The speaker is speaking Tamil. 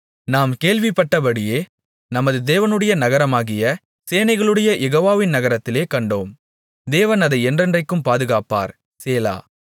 நாம் கேள்விப்பட்டபடியே நமது தேவனுடைய நகரமாகிய சேனைகளுடைய யெகோவாவின் நகரத்திலே கண்டோம் தேவன் அதை என்றென்றைக்கும் பாதுகாப்பார் சேலா